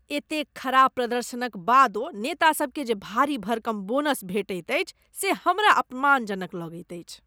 एतेक खराब प्रदर्शनक बादो नेतासबकेँ जे भारी भरकम बोनस भेटैत अछि से हमरा अपमानजनक लगैत अछि।